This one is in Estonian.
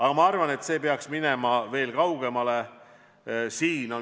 Aga ma arvan, et siin peaks minema veel kaugemale.